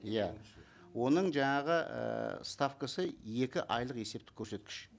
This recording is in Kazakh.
иә оның жаңағы ііі ставкасы екі айлық есептік көрсеткіш